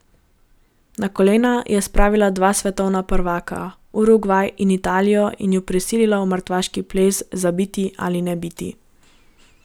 Na kolena je spravila dva svetovna prvaka, Urugvaj in Italijo, in ju prisilila v mrtvaški ples za biti ali ne biti.